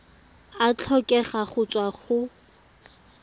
a tlhokega go tswa go